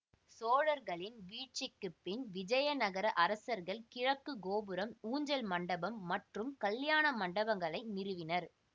சோழர்களின் வீழ்ச்சிக்குபின் விஜயநகர அரசர்கள் கிழக்கு கோபுரம் ஊஞ்சல் மண்டபம் மற்றும் கல்யாண மண்டபங்களை நிறுவினர்